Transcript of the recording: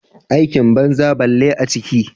Aikin banza bille a ciki.